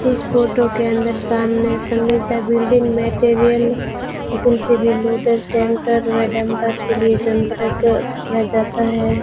इस फोटो के अंदर सामने समीक्षा बिल्डिंग मटेरियल जैसे भी लोडर टैंकर में व डंफर के लिए संपर्क किया जाता है।